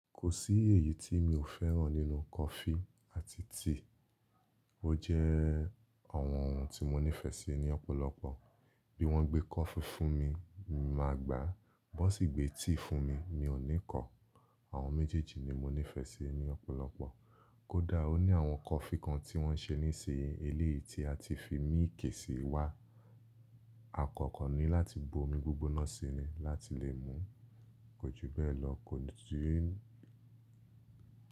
Kò sí èyí tí mi ò fẹ́ràn nínú coffee àti tea. Ó jẹ́ àwọn ohun tí mo nífẹ̀ẹ́ sí ní ọ̀pọ̀lọpọ̀. Bí wọ́n gbé coffee fún mi, màá gbà á, bó sì gbé tea fún mi, mi ò ní kọ̀. Àwọn méjèèjì ni mo nífẹ̀ẹ́ sí ní ọ̀pọ̀lọpọ̀. Kódà ó ní àwọn coffee kan tí wọ́n ń ṣe ní sí i, eléyìí tí a ti fi milk sì wá. Àkọ́kọ́ ni láti bo omi gbígbóná síi ni láti lè mùú, kò ju bẹ́ẹ̀ lọ, kò sì ní.